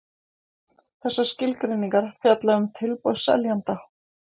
Þessar skilgreiningar fjalla um tilboð seljanda.